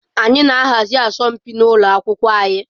Anyị na-ahazi asọmpi n'ụlọ akwụkwọ anyị.